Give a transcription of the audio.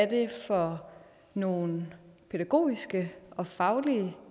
det er for nogle pædagogiske og faglige